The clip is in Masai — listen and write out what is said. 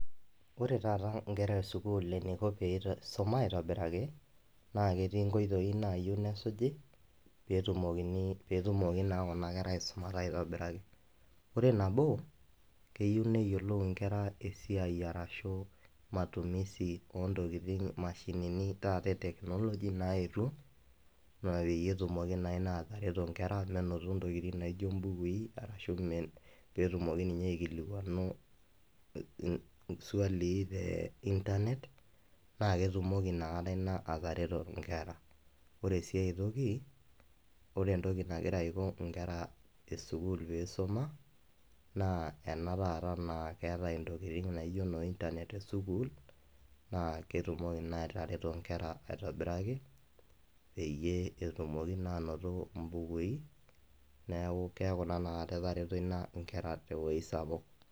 Ore taata eniko nkera esukuul leeisuma aaitobiraki naa ketii nkoitoi naa suji pee tumoki naa kuna keta aaisumata aitobiraki. Ore nabo naa keyieu neyiolou nkera matumisi oo mashinini taata e technology naayetuo nindim atareto menoto naa mbukui pee etumoki ninye aaikilikwanu iswalii naa te internet, naa ketumoki inakata ina atareto nkera. Ore sii aitoki, ore entoki nagira aisho nkera pee isuma naa ena taata naa keetae noo internet te sukuul naa ketumoki naa atareto nkera aitobiraki netumoki naa aanoto mbukui neeku keekunaa etareto ina nkera te wueji sapuk.